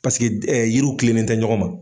Paseke yiriw tilen nin tɛ ɲɔgɔn ma.